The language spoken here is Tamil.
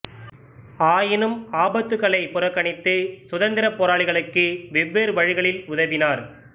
ஆயினும் ஆபத்துக்களைப் புறக்கணித்து சுதந்திரப் போராளிகளுக்கு வெவ்வேறு வழிகளில் உதவினார்